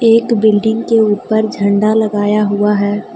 एक बिल्डिंग के ऊपर झंडा लगाया हुआ है।